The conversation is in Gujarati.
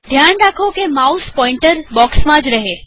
ધ્યાન રાખો કે માઉસ પોઈન્તર બોક્ષમાં જ રહે